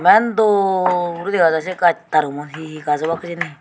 eman dol guri dega jai se gach tarugun he he gaj obak hijeni.